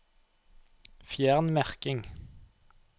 Fjern merking